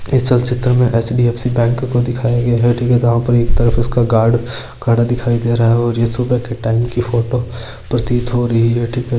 इस चलचित्र में H. D. F. C. Bank को दिखाया गया है एक तरफ इसका गार्ड खड़ा दिखाई है और ये सुबह के टाइम की फोटो प्रतीत हो रही है --